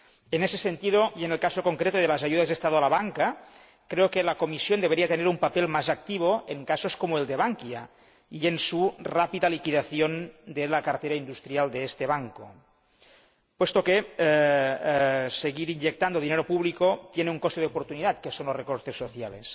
En ese sentido y en el caso concreto de las ayudas estatales a la banca, creo que la Comisión debería tener un papel más activo en casos como el de Bankia y en la rápida liquidación de la cartera industrial de este banco, puesto que seguir inyectando dinero público tiene un coste de oportunidad, que son los recortes sociales.